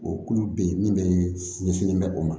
O kulu bɛ yen min bɛ ɲɛsinnen bɛ o ma